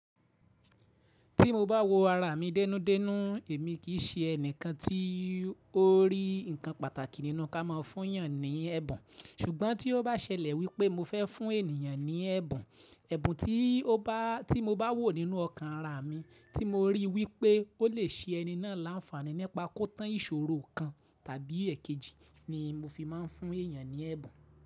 Tí mo bá wo ara mi dẹ́nú dẹ́nú, èmi kì í ṣe ẹni kan tí ó rí ǹkan pàtàkì nínú ká máa fún èèyàn ní ẹ̀bùn, ṣùgbọ́n tí ó bá ṣẹlẹ̀ wípé mo fẹ́ fún ènìyàn ní ẹ̀bùn, ẹ̀bùn tí mo bá wò nínú ọkàn ara mi tí mo rí wípé ó lè ṣe ẹni náà láńfàní nípa kó tán ìṣòro kan tàbí èkejì ni mo fi máa ń fún èèyàn ní ẹ̀bùn.